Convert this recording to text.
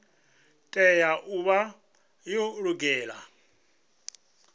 tea u vha yo lugela